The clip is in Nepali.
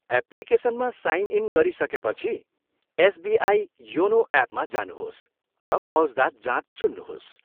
एप्लिकेसनमा साइन इन गरिसकेपछि, एसबिआई योनो एपमा जानुहोस् र मौज्दात जाँच चुन्नुहोस्।